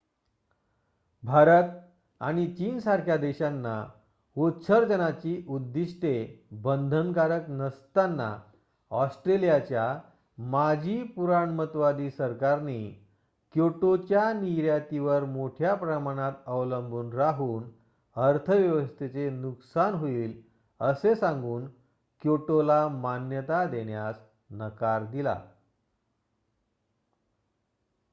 भारत आणि चीनसारख्या देशांना उत्सर्जनाची उद्दिष्ट्ये बंधनकारक नसताना ऑस्ट्रेलियाच्या माजी पुराणमतवादी सरकारने क्योटोच्या निर्यातीवर मोठ्या प्रमाणात अवलंबून राहून अर्थव्यवस्थेचे नुकसान होईल असे सांगून क्योटोला मान्यता देण्यास नकार दिला